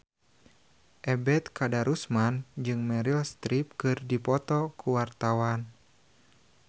Ebet Kadarusman jeung Meryl Streep keur dipoto ku wartawan